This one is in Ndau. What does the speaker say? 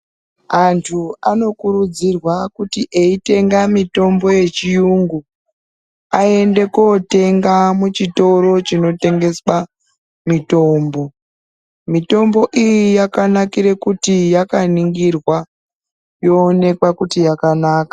Antu anokurudzirwa kuti, eitenga mitombo yechiyungu ,aende kootenga muchitoro chinotengeswa mitombo. Mitombo iyi yakanakire kuti yakaningirwa, yoonekwa kuti yakanaka.